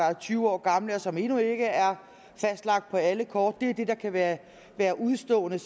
er tyve år gamle og som endnu ikke er fastlagt på alle kort det er det der kan være være udestående